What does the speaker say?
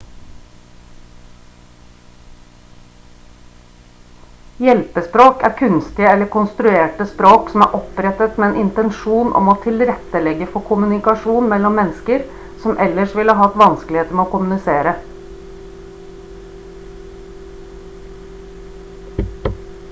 hjelpespråk er kunstige eller konstruerte språk som er opprettet med en intensjon om å tilrettelegge for kommunikasjon mellom mennesker som ellers ville hatt vanskeligheter med å kommunisere